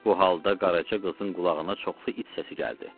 Bu halda Qaraca qızın qulağına çoxlu it səsi gəldi.